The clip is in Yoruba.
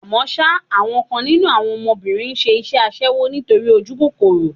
Àmọ́ ṣá, àwọn kan nínú àwọn ọmọbìnrin ń ṣe iṣẹ́ aṣẹ́wó nítorí ojúkòkòrò.